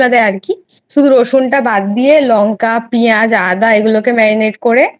দেয় আরকি শুধু রসুন টা বাদ দিয়ে লংকা পিয়াজ আদা এগুলোকে Marinet করে